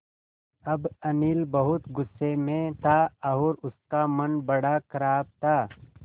अब अनिल बहुत गु़स्से में था और उसका मन बड़ा ख़राब था